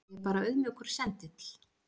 Ég er bara auðmjúkur sendill.